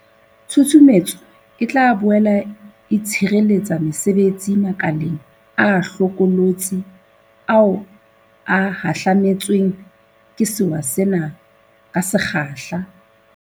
Tshusumetso e tla boele e tshireletsa mesebetsi makeleng a hlokolotsi ao a hahlame tsweng ke sewa sena ka se kgahla.